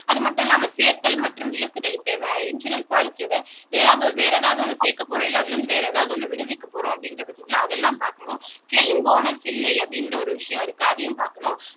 அது மட்டும் இல்லாம சேர்த்தல் மற்றும் விலக்குதல் இப்ப இன்சூரன்ஸ் பாலிசியோட வேற ஏதாவது வேற ஏதாவது ஒண்ணு சேர்க்கப்போறோம் இல்லை அதுல இருந்து வேற ஏதாவது உன்னை விடுவிக்கப் போறோம் அப்படின்ற பட்சத்துல அதெல்லாம் பார்க்கணும் கிளைம் போனஸ் இல்லை அப்படின்ற ஒரு விஷயம் இருக்கு அதையும் பார்க்கணும்